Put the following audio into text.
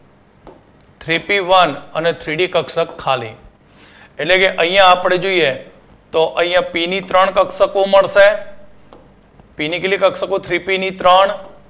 Three P One અને Three D કક્ષક ખાલી એટલે કે અહિયાં આપડે જોઈએ તો અહિયાં પી ની ત્રણ કક્ષકો મળશે પી ની કેટલી કક્ષકો Three P ની ત્રણ